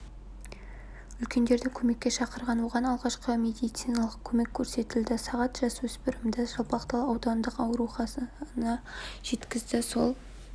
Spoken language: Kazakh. үлкендерді көмекке шақырған оған алғашқы медициналық көмек көрсетілді сағат жасөспірімді жалпақтал аудандық ауруханасына жеткізді сол